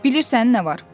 Bilirsən nə var?